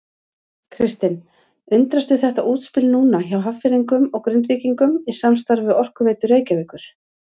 Kristinn: Undrastu þetta útspil núna hjá Hafnfirðingum og Grindvíkingum í samstarfi við Orkuveitu Reykjavíkur?